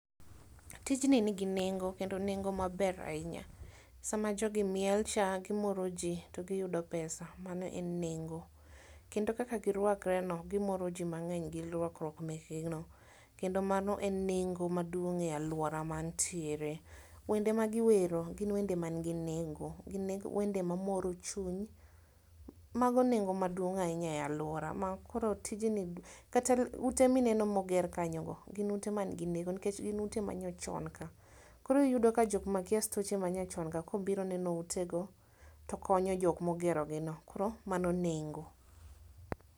Tijni nigi nengo kendo nengo maber ahinya. Sama jogi mielcha gimoro ji to giyudo pesa mano en nengo. Kendo kaka girwakre no gimoro ji mang'eny gio rwakruok mekgi no. Kendo mano en nengo maduong' e alwora mantiere. Wende magiwero gin wende man gi nengo, gin wende mamoro chuny. Mago nengo maduong' ahinya e alwora ma koro tijni kata ute mineno moger kanyogo gin ute man gi nengo nikech gin ute manyachon ka. Koro iyudo ka jokmakia stoche manyachon ka kobiro neno utego, to konyo jok mogerogi no, koro mano nengo.